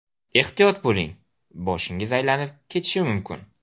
Ehtiyot bo‘ling: boshingiz aylanib ketishi mumkin!